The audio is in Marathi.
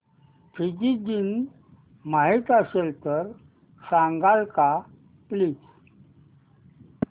फिजी दिन माहीत असेल तर सांगाल का प्लीज